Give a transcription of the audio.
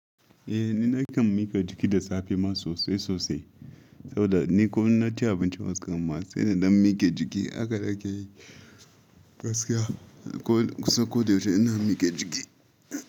Eh, ni nakan miƙa jiki da safe ma sosai sosai. Saboda ni ko in na ci abinci waskan ma sai in ɗan miƙe jiki haka nake yi. Gaskiya ko, kusan ko da yaushe ina miƙe jiki.